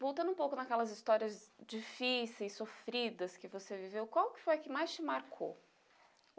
Voltando um pouco naquelas histórias difíceis, sofridas que você viveu, qual que foi a que mais te marcou?